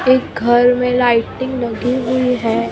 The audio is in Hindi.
एक घर में लाइटिंग लगी हुई है।